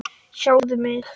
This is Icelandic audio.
Sjáðu mig.